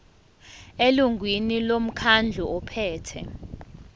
elungwini lomkhandlu ophethe